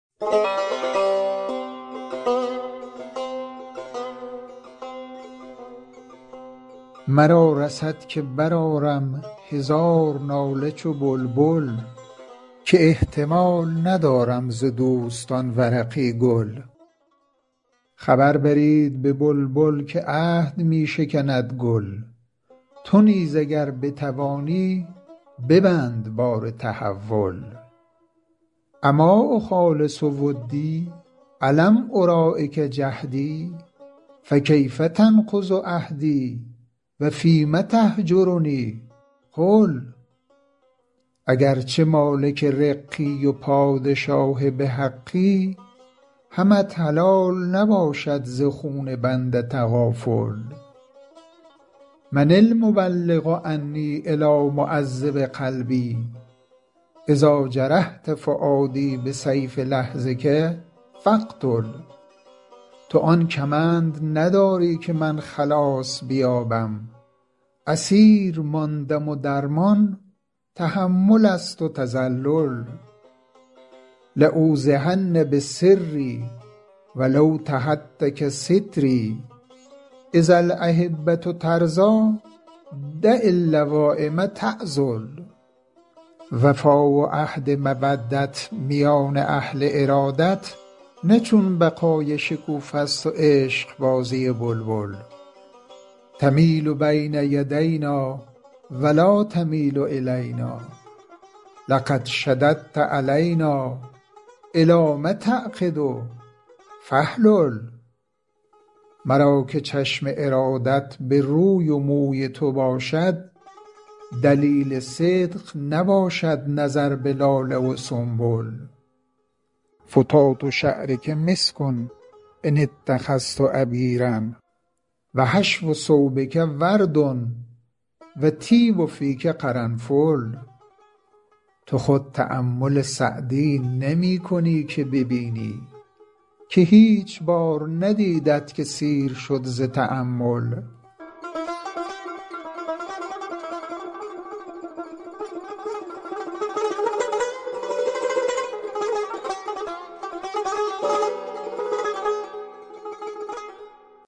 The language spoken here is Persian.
مرا رسد که برآرم هزار ناله چو بلبل که احتمال ندارم ز دوستان ورقی گل خبر برید به بلبل که عهد می شکند گل تو نیز اگر بتوانی ببند بار تحول أما أخالص ودی ألم أراعک جهدی فکیف تنقض عهدی و فیم تهجرنی قل اگر چه مالک رقی و پادشاه به حقی همت حلال نباشد ز خون بنده تغافل من المبلغ عنی إلیٰ معذب قلبی إذا جرحت فؤادی بسیف لحظک فاقتل تو آن کمند نداری که من خلاص بیابم اسیر ماندم و درمان تحمل است و تذلل لأوضحن بسری و لو تهتک ستری إذا الأحبة ترضیٰ دع اللوایم تعذل وفا و عهد مودت میان اهل ارادت نه چون بقای شکوفه ست و عشقبازی بلبل تمیل بین یدینا و لا تمیل إلینا لقد شددت علینا إلام تعقد فاحلل مرا که چشم ارادت به روی و موی تو باشد دلیل صدق نباشد نظر به لاله و سنبل فتات شعرک مسک إن اتخذت عبیرا و حشو ثوبک ورد و طیب فیک قرنفل تو خود تأمل سعدی نمی کنی که ببینی که هیچ بار ندیدت که سیر شد ز تأمل